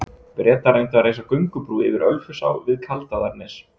Bretar reyndu að reisa göngubrú yfir Ölfusá við Kaldaðarnes.